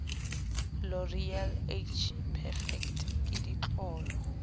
loreal age perfect ke ditlolo